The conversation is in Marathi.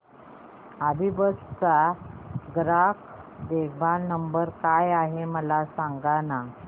अभिबस चा ग्राहक देखभाल नंबर काय आहे मला सांगाना